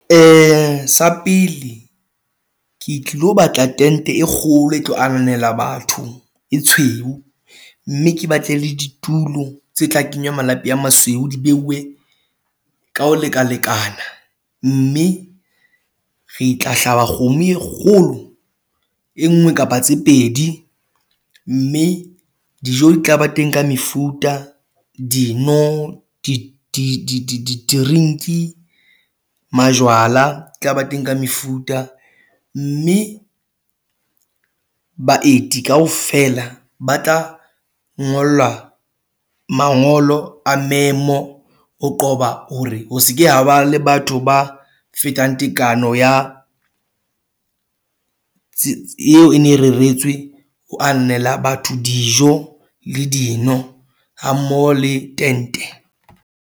Ee, sa pele ke lo batla, tente e kgolo e tlo anela batho e tshweu mme ke batle le ditulo tse tla kenywa malapi a masweu, di beuwe ka ho lekalekana mme re tla hlaba kgomo e kgolo e nngwe kapa tse pedi mme dijo di tla ba teng ka mefuta dino drink majwala tlaba teng ka mefuta, mme baeti kaofela ba tla ngolwa mangolo a memo o qoba hore ho se ke haba le batho ba fetang tekano ya eo e ne reretswe ho anela batho, dijo le dino ha mmoho le tente.